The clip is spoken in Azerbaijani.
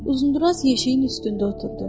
Uzundraz yeşiyin üstündə oturdu.